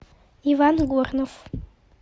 иван горнов